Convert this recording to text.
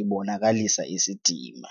ibonakalisa isidima.